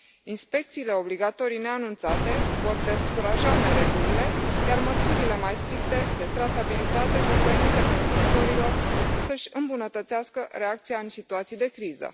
Inspecțiile obligatorii neanunțate vor descuraja neregulile, iar măsurile mai stricte, de trasabilitate, vor permite producătorilor să și îmbunătățească reacția în situații de criză.